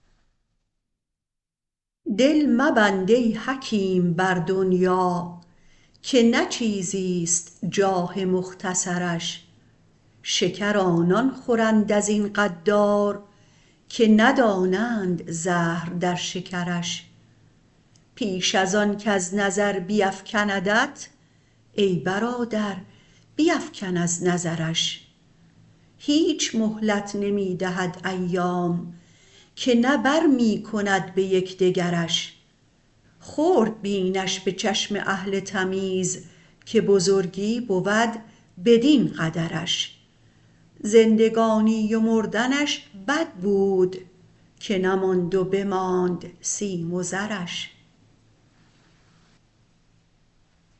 دل مبند ای حکیم بر دنیا که نه چیزیست جاه مختصرش شکر آنان خورند ازین غدار که ندانند زهر در شکرش پیش ازان کز نظر بیفکندت ای برادر بیفکن از نظرش هیچ مهلت نمی دهد ایام که نه برمی کند به یکدگرش خرد بینش به چشم اهل تمیز که بزرگی بود بدین قدرش زندگانی و مردنش بد بود که نماند و بماند سیم و زرش